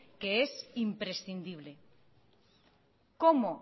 que es imprescindible cómo